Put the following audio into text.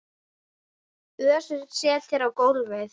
Össur settist á gólfið